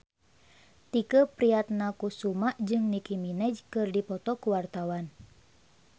Tike Priatnakusuma jeung Nicky Minaj keur dipoto ku wartawan